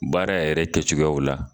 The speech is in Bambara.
Baara yɛrɛ kɛcogoyaw la